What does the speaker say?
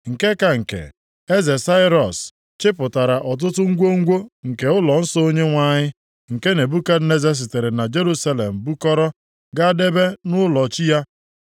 Nke ka nke, eze Sairọs chịpụtara ọtụtụ ngwongwo nke ụlọnsọ Onyenwe anyị nke Nebukadneza sitere na Jerusalem bukọrọ gaa debe nʼụlọ chi ya.